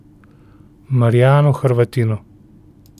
Marijanu Hrvatinu.